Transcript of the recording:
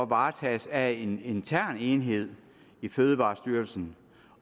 varetages af en intern enhed i fødevarestyrelsen